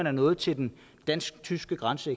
er nået til den dansk tyske grænse